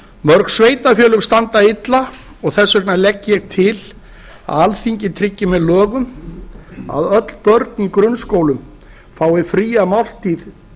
mörg sveitarfélög standa illa og þess vegna legg ég til að alþingi tryggi með lögum að öll börn í grunnskólum fái fría máltíð